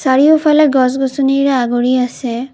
চাৰিওফালে গছ গছনিৰে আগুৰি আছে।